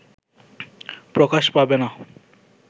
প্রকাশ পাবে না